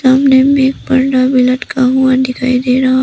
सामने में पर्दा भी लटका हुआ दिखाई दे रहा--